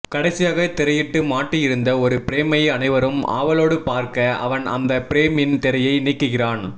கடைசியாக திரையிட்டு மாட்டி இருந்த ஒரு பிரேமை அனைவரும் ஆவலோடு பார்க்க அவன் அந்த பிரேமின் திரையை நீக்குகிறான்